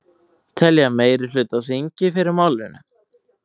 Telja meirihluta á þingi fyrir málinu